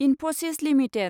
Infosys limited